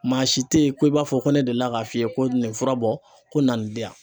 Maa si tɛ ye ko i b'a fɔ ko ne delila k'a f'i ye ko nin fura bɔ ko na nin di yan.